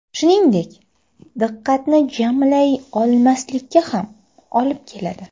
Shuningdek, diqqatni jamlay olmaslikka ham olib keladi.